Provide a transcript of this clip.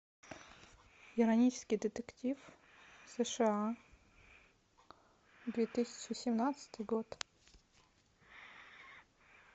иронический детектив сша две тысячи семнадцатый год